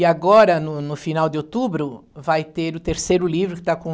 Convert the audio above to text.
E agora, no no final de outubro, vai ter o terceiro livro que está com...